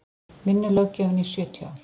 vinnulöggjöfin í sjötíu ár